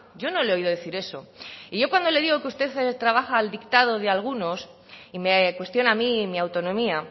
yo no le he oído decir eso y yo cuando le digo que usted trabaja al dictado de algunos y me cuestiona a mí mi autonomía